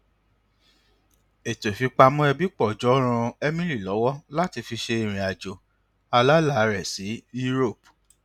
ètò ìfipamọ ẹbí pọ jọ ràn emily lọwọ láti fi ṣe irinàjò alálà rẹ sí europe